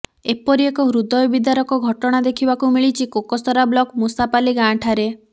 ଏପରି ଏକ ହୃଦୟ ବିଦାରକ ଘଟଣା ଦେଖିବାକୁ ମିଲିଛି କୋକସରା ବ୍ଳକ ମୁଷାପାଲି ଗାଁ ଠାରେ